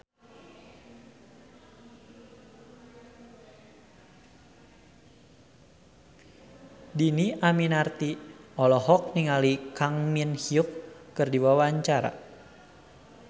Dhini Aminarti olohok ningali Kang Min Hyuk keur diwawancara